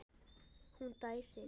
Hún dæsir.